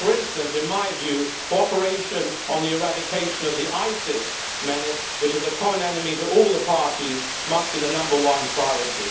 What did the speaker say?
For instance, in my view, cooperation on the eradication of the ISIS menace, which is a common enemy to all the parties, must be the number one priority.